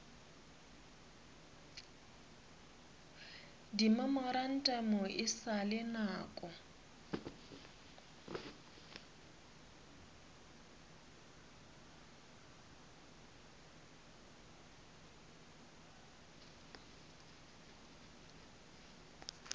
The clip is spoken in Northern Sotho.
dimemorantamo e sa le nako